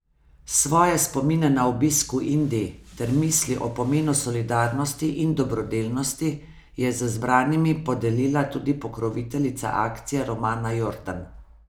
Svoje spomine na obisk v Indiji ter misli o pomenu solidarnosti in dobrodelnosti je z zbranimi podelila tudi pokroviteljica akcije Romana Jordan.